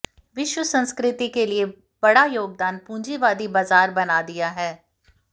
विश्व संस्कृति के लिए बड़ा योगदान पूंजीवादी बाजार बना दिया है